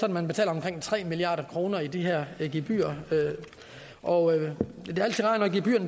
at man betaler omkring tre milliard kroner i de her gebyrer og